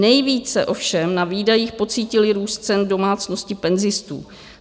Nejvíce ovšem na výdajích pocítily růst cen domácnosti penzistů.